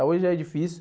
Hoje é difícil.